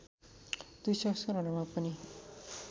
दुई संस्करणहरूमा पनि